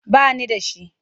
Ba ni da shi.